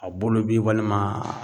A bolo bi walima